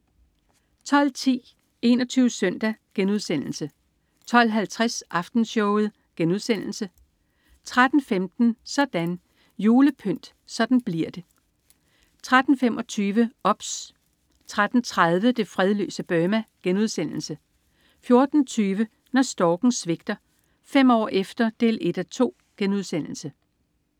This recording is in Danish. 12.10 21 Søndag* 12.50 Aftenshowet* 13.15 Sådan: Julepynt. Sådan bliver det til 13.25 OBS 13.30 Det fredløse Burma* 14.20 Når storken svigter. Fem år efter 1:2*